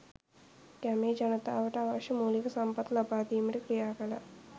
ගමේ ජනතාවට අවශ්‍ය මූලික සම්පත් ලබාදීමට ක්‍රියාකළා.